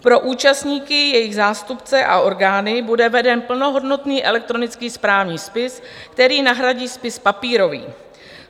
Pro účastníky, jejich zástupce a orgány bude veden plnohodnotný elektronický správní spis, který nahradí spis papírový.